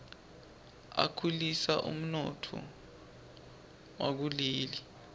akhulisa umnotfo wakuleli